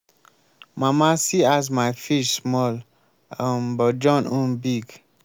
mama see as my fish small um but john own big.